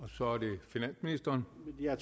ministre